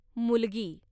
मुलगी